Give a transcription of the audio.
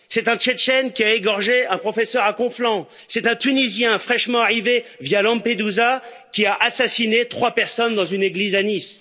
C'est un Tchétchène qui a égorgé un professeur à Conflans. C'est un Tunisien fraîchement arrivé via Lampedusa qui a assassiné trois personnes dans une église à Nice.